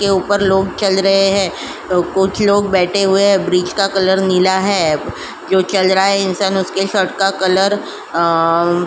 इसके ऊपर लोग चल रहे हैं तो कुछ लोग बैठे हुए हैं। ब्रिज का कलर नीला है जो चल रहा है इंसान उसका कलर अं --